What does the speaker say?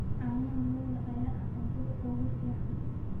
Caanaha lo'da ayaa ah cuntada ugu fiican.